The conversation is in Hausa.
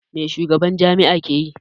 Mai shugaban jami'a ke yi?